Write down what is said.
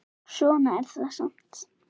Svona er þetta samt.